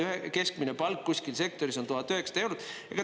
Keskmine palk kuskil sektoris on 1900 eurot.